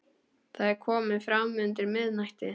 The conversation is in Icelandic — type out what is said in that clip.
Það er komið fram undir miðnætti.